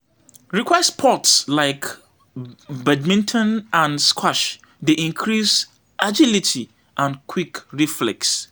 Racquet sports like badminton and squash dey increase agility and quick reflex.